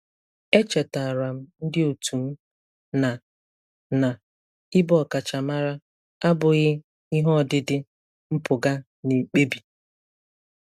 E chetaara m ndị otu m na na ịbụ ọkachamara abụghị ihe ọdịdị mpụga na-ekpebi.